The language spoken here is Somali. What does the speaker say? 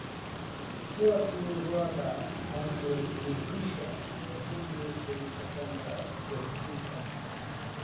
Tour du Rwanda: Samuel Mugisha ayaa ku guulaystay tartanka baaskiilka